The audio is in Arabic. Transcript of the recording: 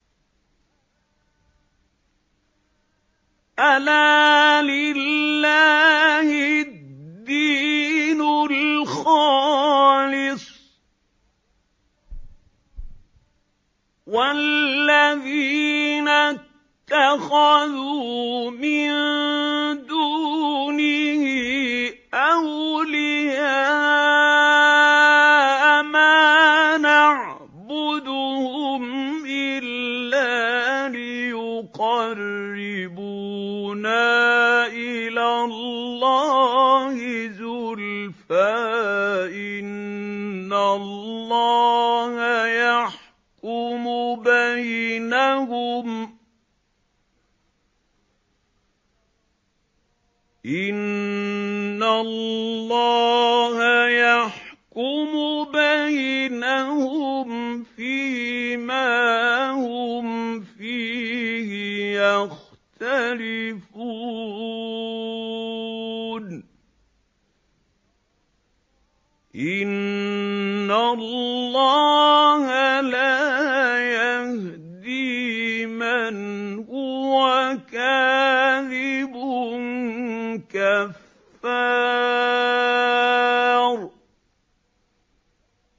أَلَا لِلَّهِ الدِّينُ الْخَالِصُ ۚ وَالَّذِينَ اتَّخَذُوا مِن دُونِهِ أَوْلِيَاءَ مَا نَعْبُدُهُمْ إِلَّا لِيُقَرِّبُونَا إِلَى اللَّهِ زُلْفَىٰ إِنَّ اللَّهَ يَحْكُمُ بَيْنَهُمْ فِي مَا هُمْ فِيهِ يَخْتَلِفُونَ ۗ إِنَّ اللَّهَ لَا يَهْدِي مَنْ هُوَ كَاذِبٌ كَفَّارٌ